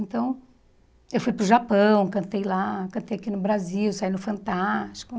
Então eu fui para o Japão, cantei lá, cantei aqui no Brasil, saí no Fantástico.